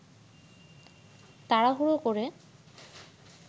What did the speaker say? তাড়াহুড়ো করে